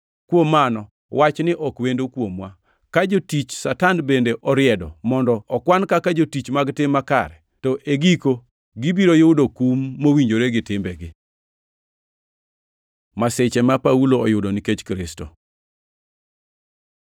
Kuom mano wachni ok wendo kuomwa, ka jotich Satan bende oriedo mondo okwan kaka jotich mag tim makare. To e giko gibiro yudo kum mowinjore gi timbegi. Masiche ma Paulo oyudo nikech Kristo